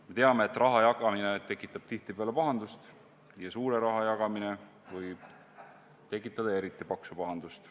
Me teame, et raha jagamine tekitab tihtipeale pahandust, ja suure raha jagamine võib tekitada eriti paksu pahandust.